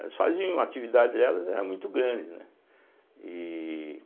Elas faziam atividades, delas eram muito grandes, né? e